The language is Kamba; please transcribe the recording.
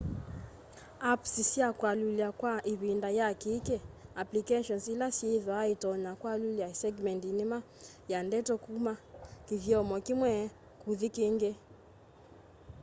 apps sya kualyula kwa ivinda ya kiiki- applications ila syithwaa itonya kwalyula segmendi nima ya ndeto kuma kithyomo kimwe kuthi kíngí